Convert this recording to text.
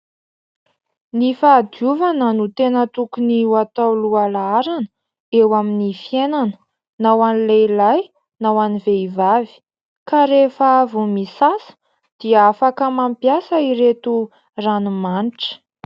Ny fahadiovana no tena tokony ho atao loha laharana eo amin'ny fiainana, na ho an'ny lehilahy na ho an'ny vehivavy ka rehefa avy misasa dia afaka mampiasa ireto ranomanitra.